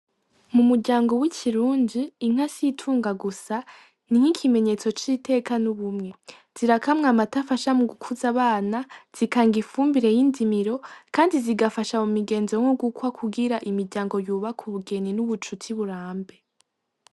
Mumuryango wikirundi, inka situnga gusa, ni nkikimenyetso citeka nubumwe. Zirakamwa amata afasha mu gukuza abana, zikanga ifumbire yinzimiro, kandi zigafasha mu migenzi nko gukwa kugira imiryango yubake ubugeni nubucuti burambe.